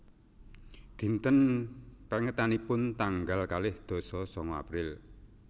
Dinten pèngetanipun tanggal kalih dasa sanga April